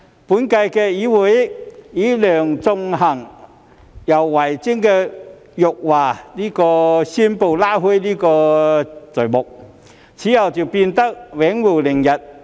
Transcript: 本屆議會以梁頌恆和游蕙禎的辱華宣誓拉開序幕，此後就變得永無寧日。